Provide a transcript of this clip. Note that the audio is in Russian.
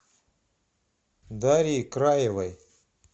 дарьи краевой